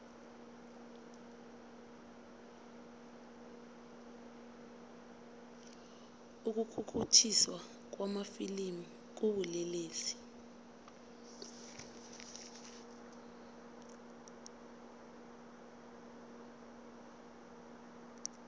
ukukhukhuthiswa kwamafilimu kubulelesi